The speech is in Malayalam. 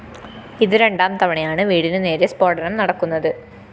ഇതു രണ്ടാം തവണയാണ് വീടിനു നേരെ സ്‌ഫോടനം നടക്കുന്നത്